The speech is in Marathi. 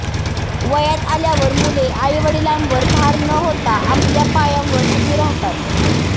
वयात आल्यावर मुले आईवडिलांवर भार न होता आपल्या पायांवर उभी राहतात